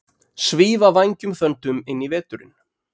Svífa vængjum þöndum inn í veturinn